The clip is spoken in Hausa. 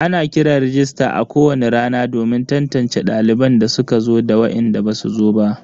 Ana kiran rajista a kowani rana domin tantance daliban da suka zo da wainda basu zo ba.